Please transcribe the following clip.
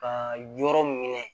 Ka yɔrɔ minɛ